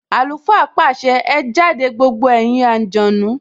Àlùfáà pàṣẹ! Ẹ jáde gbogbo ẹ̀yin àǹjọ̀nú